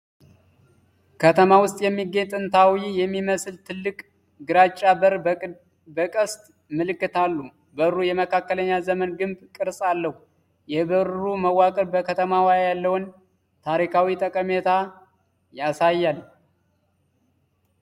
ከተማ ውስጥ የሚገኝ ጥንታዊ የሚመስል ትልቅ ግራጫ በር በቅስት መልክ አሉ። በሩ የመካከለኛው ዘመን ግንብ ቅርፅ አለው። የበሩ መዋቅር በከተማዋ ያለውን ታሪካዊ ጠቀሜታ ያሳያል?